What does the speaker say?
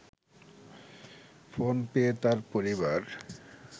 phone পেয়ে তার পরিবার